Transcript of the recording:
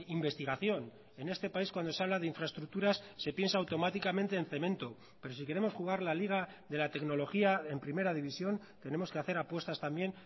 investigación en este país cuando se habla de infraestructuras se piensa automáticamente en cemento pero si queremos jugar la liga de la tecnología en primera división tenemos que hacer apuestas también